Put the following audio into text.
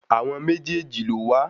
Àwọn méjèèjì ló wà.